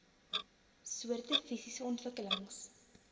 soorte fisiese ontwikkelings